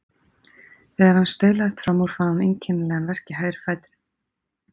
Þegar hann staulaðist fram úr fann hann einkennilegan verk í hægri fætinum.